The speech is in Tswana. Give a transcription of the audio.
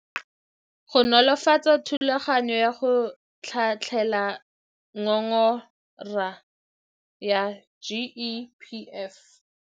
Go nolofatsa thulaganyo ya go tlhatlhela ngongora ya GEPF.